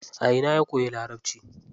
A ina ya koyi larabci?